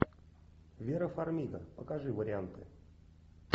вера фармига покажи варианты